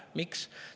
Miks?